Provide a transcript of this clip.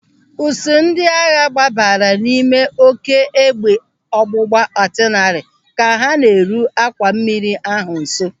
Ụsụụ ndị agha gbabara n'ime oké égbè ọgbụgba atịlarị ka ha na-eru àkwà mmiri ahụ nso.